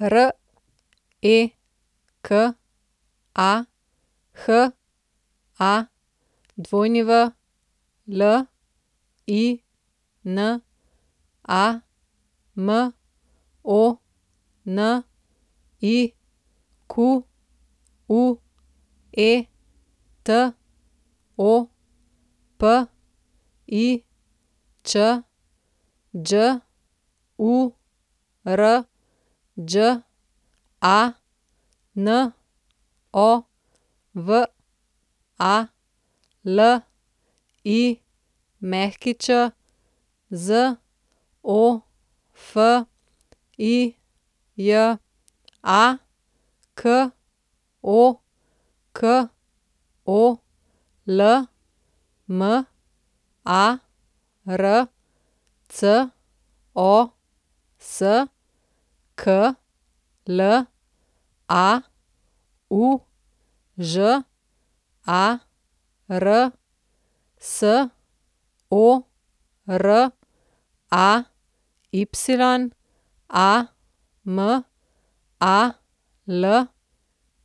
Reka Hawlina, Monique Topič, Đurđa Novalić, Zofija Kokol, Marcos Klaužar, Soraya